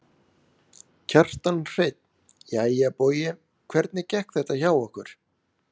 Kjartan Hreinn: Jæja Bogi hvernig gekk þetta hjá okkur?